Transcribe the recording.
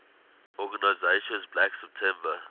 organization black september